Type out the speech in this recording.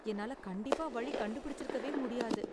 என்னால கண்டிப்பா வழி கண்டுபிடிச்சிருக்கவே முடியாது.